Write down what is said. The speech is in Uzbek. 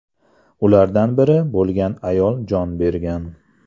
Ulardan biri bo‘lgan ayol jon bergan.